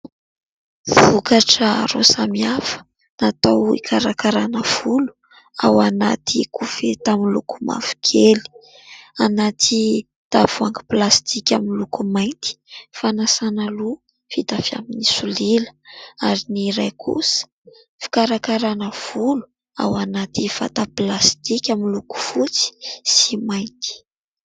Vokatra roa samy hafa natao ikarakarana volo ao anaty koveta miloko mavo kely, anaty tavoangy plastika amin'ny loko mainty. Fanasana loha vita avy amin'ny solila ary ny iray kosa, fikarakarana volo ao anaty vata plastika miloko fotsy sy mainty.